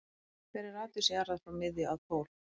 Hver er radíus jarðar frá miðju að pól?